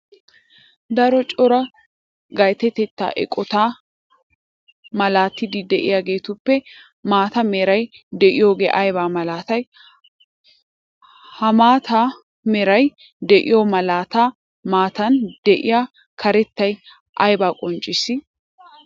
Daro coraa gattiyaa eqotta maalatatti de'iyaagettuppe maata meray de'iyooge aybba malattay? Ha maata meray de'iyo malattaa matan de'iya karettay aybba qoncissi?